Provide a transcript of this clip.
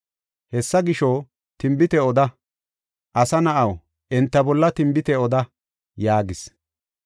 Hessa gisho, tinbite oda; asa na7aw, enta bolla tinbite oda” yaagis.